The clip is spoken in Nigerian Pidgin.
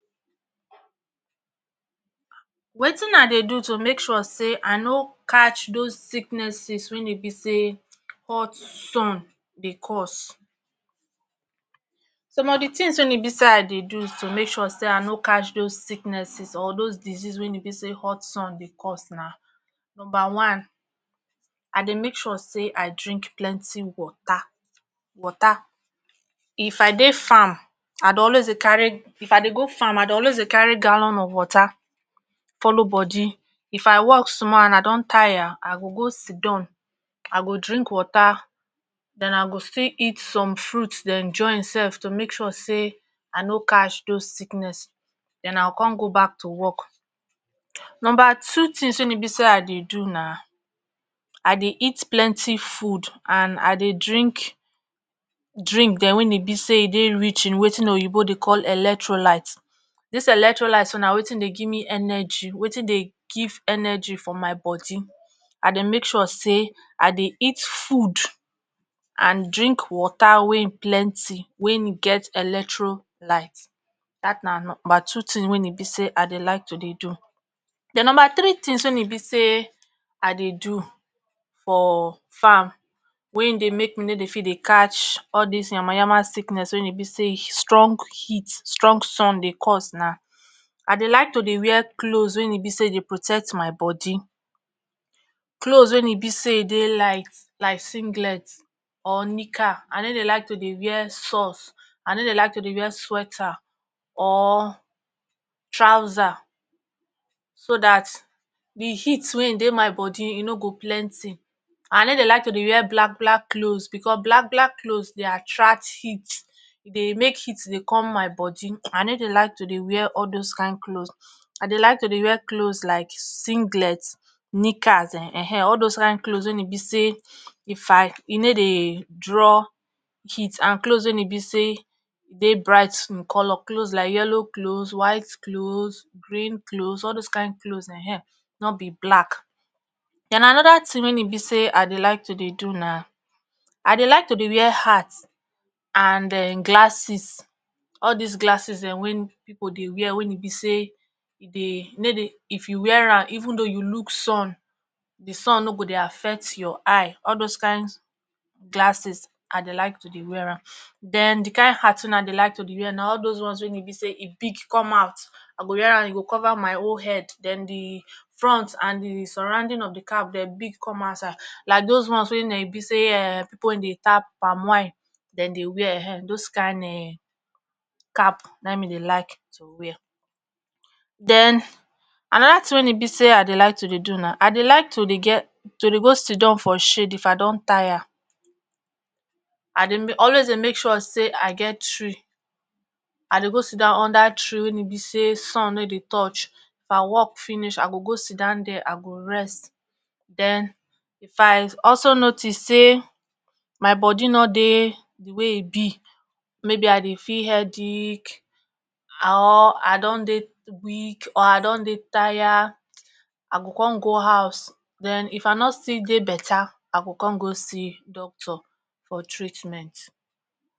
wetin i dey do to make sure say i no catch those sickness sis wen e be say hot sun dey cause some of di tins wey e bi sayi dey do to make sure say i no catch those sicknes sis or doz disease win e bi say hot sun dey cause na numba one i dey make sure say i drink plenty water water if i dey farm if i dey go farm i dey always dey carry gallon of water follow bodi if i work small and i don tire i go go sidon i go drink water den i go still eat some fruit den join sef to make sure say ino catch doz sickness den i go con go back to work. numba two tins wey e be say i dey do na i dey eat plenty food and i dey drink drink dem wey e be say e dey rich in watin oyibo dey call electrolight, dis electrolight na watin dey give me energy watin dey give energy for my bodi i dey make sure say i dey eat food and drink water wey plenty wen e get electrolight dat na numba two tin wey e be say i dey like to do. den numba three tins wen e be say i dey do for farm wey dey make no dey fit dey catch all dis yama yama sickness wey e be say strong heat strong sun dey cause na i dey like to dey wear cloz wey e be say dey protect my bodi cloz wey e be say e dey light like singlet or nika i ne dey like to dey wear socks i no dey like to dey wear sweater or trouser so dat d heat wey dey my bodi e no go plenty, i no dey like to dey wear black black cloz bcos black black cloz dey attract heat e dey make heat dey com my bodi i ne dey like to dey wear all doz kind cloz i dey like to dey wear cloz like singlet, nikas[um]ehn all doz kind cloz wey e be say ifi e ne dey draw heat and cloz wey e be say e dey bright in color, cloz like yellow cloz, white cloz, green cloz all doz kind cloz[um]ehn no be black. den anoda tin wey e be say i dey like to do na i dey like to dey wear hat and um glasses all dis glasses dem wey pipo dey wear wey e be say e dey e ne dey if you wear am even though you look sun d sun no go dey affect ur eye all doz kind glasses i dey like to dey wear am. den d kain hat weyi dey like to dey wear n all doz ones wey e be say e big come out, i go wear am e go cover my whole head den d front and surrunding of d cap den big come outside like doz ones wey be say um pipo wey dey tap palmwine den dey wear[um]ehn doz kind cap na me dey like to wear. den anoda tin wey e be say i dey like to dey do na i dey like to ge to dey go sidon for shade if i don tire i dey m always dey make sure say i get tree i dey go sidon under treewen e be say sun no dey touch if i work finish i go go sidon there i go rest den if i also notice say my bodi no dey d way e be maybe i dey feel headic or i don dey weak or i don dey tire i go con go house den if i nor still dey better i go con go see doctor for treatment